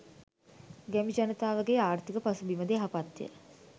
ගැමි ජනතාවගේ ආර්ථික පසුබිම ද යහපත්ය.